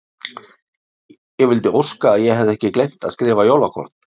Ég vildi óska að ég hefði ekki gleymt að skrifa jólakort.